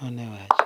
Mano e wach.